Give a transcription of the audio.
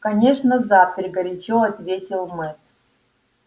конечно запер горячо ответил мэтт